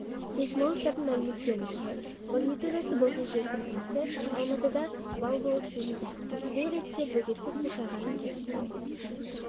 сейсмологтардың мәліметтерінше магнитудасы болған жер сілкінісі алматыда балл болып сезілді бұл ретте бөгетті су шайғанын теріске